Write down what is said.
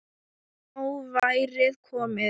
Nóg væri komið.